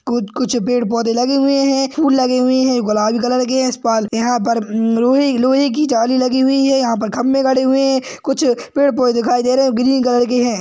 कुछ कुछ पेड़ पौधे लगे हुए हैं फूल लगे हुए हैं गुलाबी कलर के हैं यहाँ पर लोहे-लोहे की जाली लगी हुई हैं यहाँ पर खम्बे गढ़े हुए हैं कुछ पेड़ पौधे दिखाई दे रहे हैं ग्रीन कलर के हैं।